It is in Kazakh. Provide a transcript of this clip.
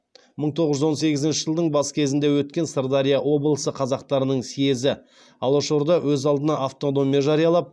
мың тоғыз жүз он сегізінші жылдың бас кезінде өткен сырдария облысы қазақтарының съезі алашорда өз алдына автономия жариялап